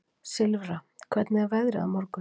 Silfra, hvernig er veðrið á morgun?